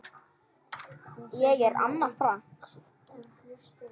Ég er Anna Frank.